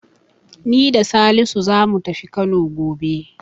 Ni da Salisu zamu tafi Kano gobe.